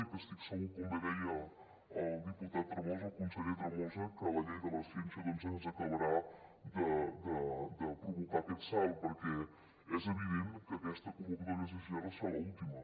i estic segura com bé deia el diputat tremosa el conseller tremosa que la llei de la ciència ens acabarà de provocar aquest salt perquè és evident que aquesta convocatòria d’sgr serà l’última